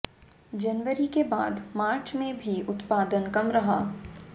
जनवरी के बाद मार्च में भी उत्पादन कम रहा